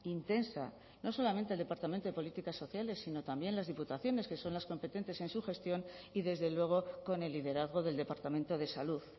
intensa no solamente el departamento de políticas sociales sino también las diputaciones que son las competentes en su gestión y desde luego con el liderazgo del departamento de salud